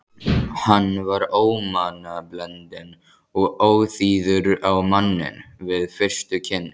Hann var ómannblendinn og óþýður á manninn við fyrstu kynni.